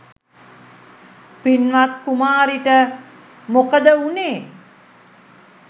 පින්වත් කුමාරිට මොකද වුණේ?